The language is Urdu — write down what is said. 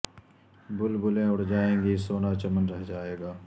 بلبلیں اڑ جائیں گی سونا چمن رہ جائے گا